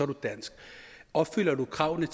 du dansk opfylder du kravene